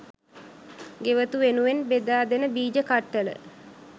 ගෙවතු වෙනුවෙන් බෙදා දෙන බීජ කට්ටල